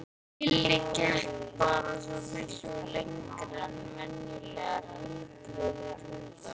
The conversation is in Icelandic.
Lilli gekk bara svo miklu lengra en venjulegir heilbrigðir hundar.